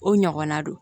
O ɲɔgɔnna don